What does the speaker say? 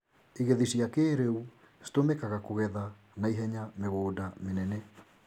igethi cia kĩrĩu citũmĩkagakũgetha na ihenya mĩgũnda mĩnene.